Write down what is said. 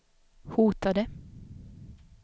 hotade